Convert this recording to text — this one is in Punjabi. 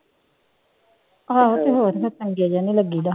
ਆਹੋ ਤੇ ਹੋਰ ਫਿਰ ਚੰਗੇ ਜਿਹੇ ਨੀ ਲੱਗੀਦਾ।